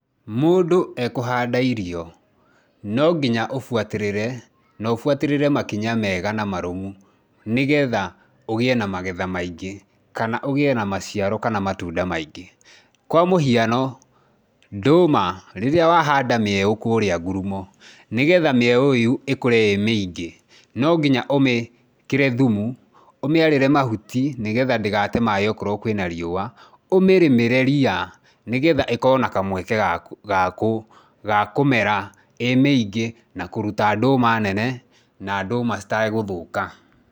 Mũndũ ekũhanda irio, no nginya ũbuatĩrĩre na ũbuatĩrĩre makinya mega na marũmu nĩgetha ũgĩe na magetha maingĩ kana ũgĩe na maciaro kana matunda maingĩ. Kwa mũhiano, ndũma, rĩrĩa wahanda mĩeũ kũrĩa ngurumo, nĩgetha mĩeo ĩyo ĩkũre ĩ mĩingĩ, no nginya ũmĩkĩre thumu, ũmĩarĩre mahuti, nĩgetha ndĩgate maĩ okorwo kwĩna riũa, ũmĩrĩmĩre ria nĩgetha ĩkorwo na kamweke ga kũmera ĩ mĩingĩ na kũruta ndũma nene na ndũma citegũthũka.